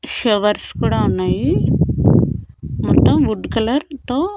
showers కూడా ఉన్నాయి మొత్తం వుడ్ కలర్ తో--